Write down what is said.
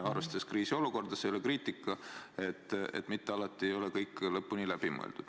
Kriisiolukorras – see ei ole kriitika – ei ole mitte alati kõik lõpuni läbi mõeldud.